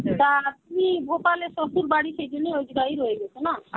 তা, আপনি ভোপালে শ্বশুর বাড়ি সেইজন্যে রয়েগেছে না?